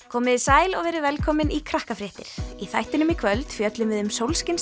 komiði sæl og verið velkomin í Krakkafréttir í þættinum í kvöld fjöllum við um